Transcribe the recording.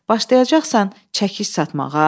Başlayacaqsan çəkic satmağa?